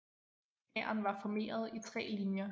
Hæren var formeret i tre linjer